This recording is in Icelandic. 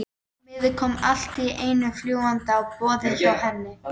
Miði kom allt í einu fljúgandi á borðið hjá Erni.